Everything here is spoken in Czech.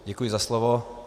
Děkuji za slovo.